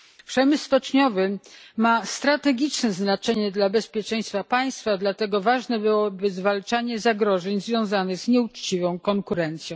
Przemysł stoczniowy ma strategiczne znaczenie dla bezpieczeństwa państwa, dlatego ważne byłoby zwalczanie zagrożeń związanych z nieuczciwą konkurencją.